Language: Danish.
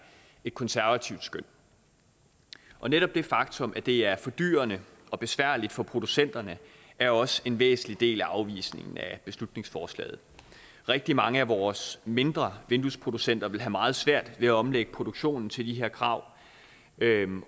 et konservativt skøn netop det faktum at det er fordyrende og besværligt for producenterne er også en væsentlig del af afvisningen af beslutningsforslaget rigtig mange af vores mindre vinduesproducenter vil have meget svært ved at omlægge produktionen til de her krav